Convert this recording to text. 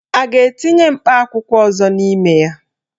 A ga-etinye mkpa akwụkwọ ọzọ n'ime ya?